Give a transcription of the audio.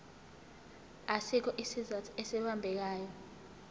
asikho isizathu esibambekayo